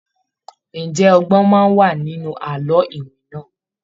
Ǹjẹ́ ọgbòn wà ní inú àlọ́ iwin náà?